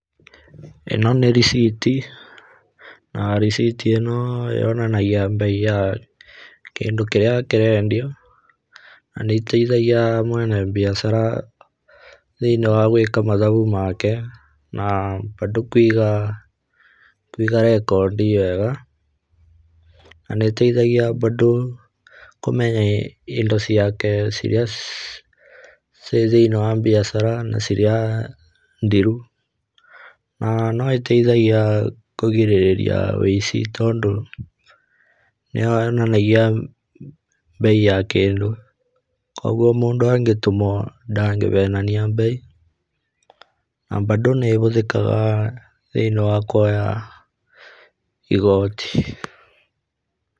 ĩno nĩ rĩciti na rĩciti ĩno yonanagia mbei ya kĩndũ kĩrĩa kĩrendio na nĩteithagia mwene biacara thĩiniĩ wa gwĩka mathabu make na bado kĩuga, kũiga recodi njega. Na nĩteithagia bado kũmenya indo ciake iria ci thĩiniĩ wa biacara na iria thiru. Na noĩteithagia kũgirĩrĩria wĩici tondũ nĩyonanagia mbei ya kĩndũ kũguo mũndũ angĩtũmwo ndangĩhenania mbei. Na bado nĩhũthĩkaga thĩiniĩ wa kuoya igoti.